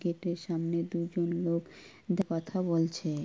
Gate -এর সামনে দু জন লোক কথা বলছে।